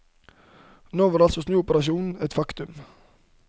Nå var altså snuoperasjonen et faktum.